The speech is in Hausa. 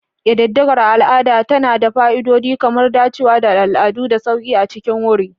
Ƙididdigar al'ada tana da fa'idodi kamar dacewa da al'adu da sauƙi a cikin wuri.